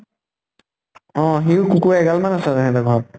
অ সিও কুকুৰ এগাল মান আছে হেহঁতৰ ঘৰত